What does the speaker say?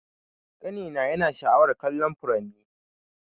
Kani na yana sha'awar kallon furanni.